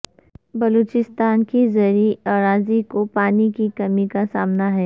بلوچستان کی زرعی اراضی کو پانی کی کمی کا سامنا ہے